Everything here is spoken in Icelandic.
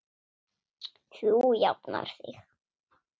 Þú jafnar þig.